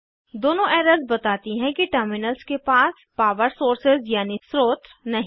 दोनों एरर्स बताती हैं कि टर्मिनल्स के पास पावर सोर्सेज़ यानी स्रोत्र नहीं हैं